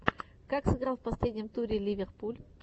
как сыграл в последнем туре ливерпуль